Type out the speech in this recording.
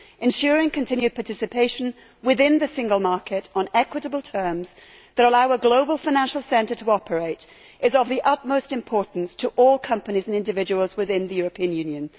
Ensuring continued participation within the single market on equitable terms that allow a global financial centre to operate is of the utmost importance to all companies and individuals within the European Union.